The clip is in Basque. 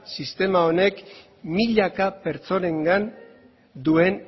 sistema honek milaka pertsonengan duen